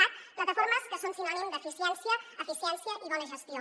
cat plataformes que són sinònim d’eficiència i bona gestió